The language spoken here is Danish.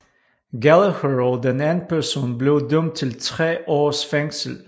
Gallagher og den anden person blev dømt til 3 års fængsel